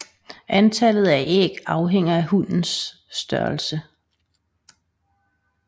Antallet af æg afhænger af hunnens størrelse